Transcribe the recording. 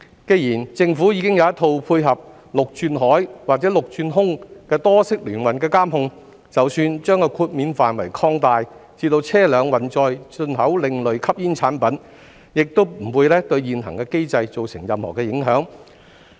既然政府已有一套配合陸轉海或陸轉空多式聯運的監控，即使把豁免範圍擴大至車輛運載的進口另類吸煙產品，亦不會對現行機制造成任何影響。